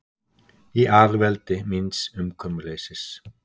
Í alveldi míns umkomuleysis.